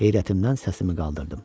Heyrətimdən səsimi qaldırdım.